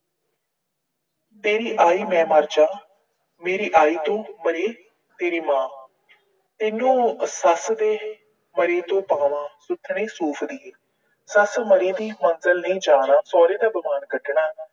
ਤੇਰੀ ਆਈ ਮੈਂ ਮਰ ਜਾ, ਮੇਰੀ ਆਈ ਤੋਂ ਮਰੇ ਤੇਰੀ ਮਾਂ। ਤੈਨੂੰ ਸੱਸ ਦੀ ਮਰੀ ਤੋਂ ਪਾਵਾਂ, ਸੁਥਣੇ ਸੂਫ਼ ਦੀਏ, ਸੱਸ ਮਰੀ ਦੀ ਮਗਰ ਨੀ ਜਾਣਾ, ਸਹੁਰੇ ਦਾ ਬਬਾਨ ਕੱਢਣਾ